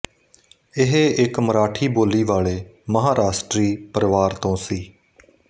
ਇਹ ਇੱਕ ਮਰਾਠੀ ਬੋਲੀ ਵਾਲੇ ਮਹਾਰਾਸ਼ਟਰੀ ਪਰਿਵਾਰ ਤੋਂ ਸੀ